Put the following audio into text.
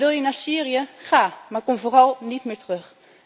En wil je naar Syrië, ga, maar kom vooral niet meer terug.